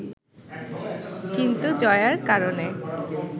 কিন্তু জয়ার কারণে